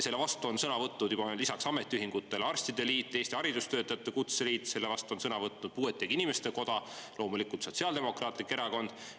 Selle vastu on juba sõna võtnud lisaks ametiühingutele arstide liit, Eesti haridustöötajate kutseliit, selle vastu on sõna võtnud puuetega inimeste koda, loomulikult Sotsiaaldemokraatlik Erakond.